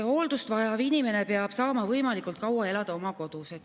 Hooldust vajav inimene peab saama võimalikult kaua elada oma kodus.